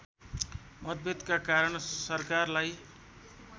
मतभेदका कारण सरकारलाई